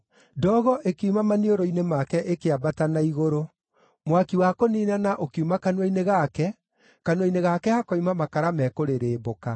Ndogo ĩkiuma maniũrũ-inĩ make ĩkĩambata na igũrũ; mwaki wa kũniinana ũkiuma kanua-inĩ gake. Kanua-inĩ gake hakoima makara mekũrĩrĩmbũka.